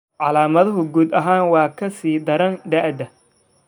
Calaamaduhu guud ahaan way ka sii daraan da'da.